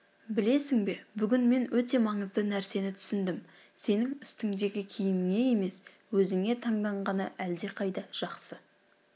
білесің бе бүгін мен өте маңызды нәрсені түсіндім сенің үстіңдегі киіміңе емес өзіңе таңданғаны әлдеқайда жақсы